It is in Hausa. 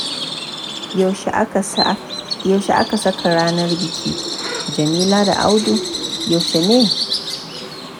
Yaushe aka saka ranar bikin Jamila da Audu? Yaushe ne?